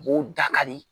B'o dakari